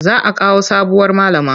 Za a kawo sabuwar malama.